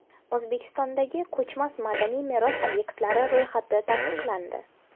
O‘zbekistondagi ko‘chmas madaniy meros obyektlari ro‘yxati tasdiqlandi.